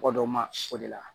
Mɔgɔ dɔ ma sɔn o de la